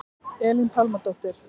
Elín Pálmadóttir